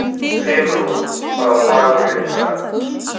Brimrún, hvaða dagur er í dag?